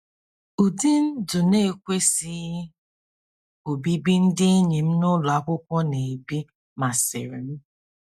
Ụdị ndụ na-ekwesịghị obibi ndị enyi m n'ụlọ akwụkwọ na-ebi masịrị m.